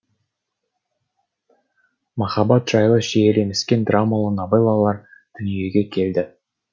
махаббат жайлы шиеленіскен драмалы новеллалар дүниеге келді